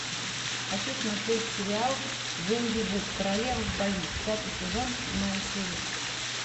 хочу смотреть сериал венди ву королева в бою пятый сезон седьмая серия